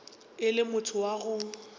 e le motho wa go